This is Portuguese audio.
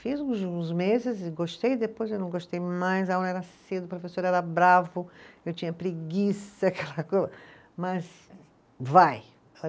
Fiz uns uns meses, gostei, depois eu não gostei mais, a aula era cedo, o professor era bravo, eu tinha preguiça, aquela, mas vai